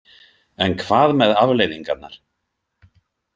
En hvað með afleiðingarnar?